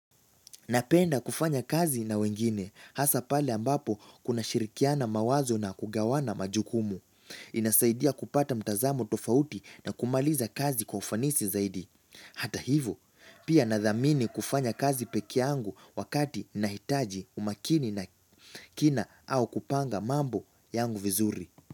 Napenda kufanya kazi na wengine, hasa pale ambapo kuna shirikiana mawazo na kugawana majukumu. Inasaidia kupata mtazamo tofauti na kumaliza kazi kwa ufanisi zaidi. Hata hivo, pia nathamini kufanya kazi pekeangu wakati nahitaji umakini na kina au kupanga mambo yangu vizuri.